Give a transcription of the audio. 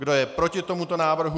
Kdo je proti tomuto návrhu?